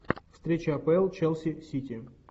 встреча апл челси сити